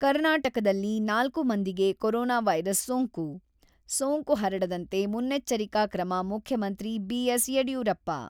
ಕರ್ನಾಟಕದಲ್ಲಿ ನಾಲ್ಕು ಮಂದಿಗೆ ಕೋರೊನಾ ವೈರಸ್ ಸೋಂಕು ; ಸೋಂಕು ಹರಡಂತೆ ಮುನ್ನೆಚ್ಚರಿಕಾ ಕ್ರಮ ಮುಖ್ಯಮಂತ್ರಿ ಬಿ.ಎಸ್.ಯಡಿಯೂರಪ್ಪ.